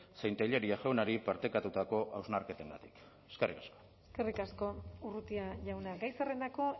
zein tellería jaunari partekatutako hausnarketengatik eskerrik asko eskerrik asko urrutia jauna gai zerrendako